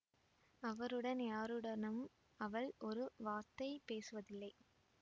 அவருடன் யாருடனும் அவள் ஒரு வார்த்தை பேசுவதில்லை